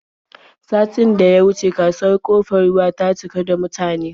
Satin da ya wuce kasuwar Ƙofar Ruwa ta cika da mutane.